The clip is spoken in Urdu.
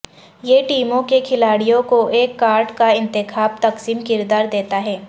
یہ ٹیموں کے کھلاڑیوں کو ایک کارڈ کا انتخاب تقسیم کردار دیتا ہے